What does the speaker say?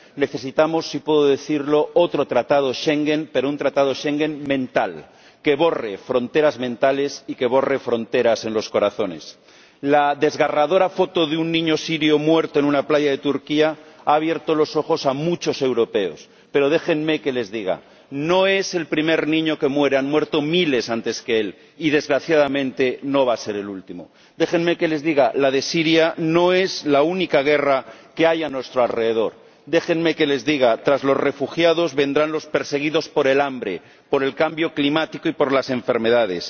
Necesitamos, si puedo decirlo, otro Tratado de Schengen, pero un Tratado de Schengen mental, que borre fronteras mentales y que borre fronteras en los corazones. La desgarradora foto de un niño sirio muerto en una playa de Turquía ha abierto los ojos a muchos europeos, pero déjenme que les diga no es el primer niño que muere ―han muerto miles antes que él y, desgraciadamente, no va a ser el último―. Déjenme que les diga la de Siria no es la única guerra que hay a nuestro alrededor déjenme que les diga tras los refugiados, vendrán los perseguidos por el hambre, por el cambio climático y por las enfermedades